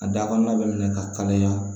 A da kɔnɔna bɛ minɛ ka kalaya